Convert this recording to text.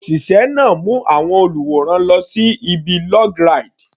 Òṣìṣẹ́ náà mú àwọn olùwòran lọ sí ibi log ride.